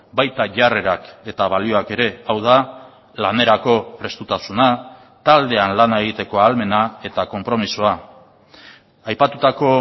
baita jarrerak eta balioak ere hau da lanerako prestutasuna taldean lana egiteko ahalmena eta konpromisoa aipatutako